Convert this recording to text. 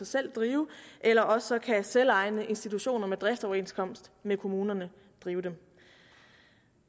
selv drive eller også kan selvejende institutioner med driftsoverenskomst med kommunerne drive dem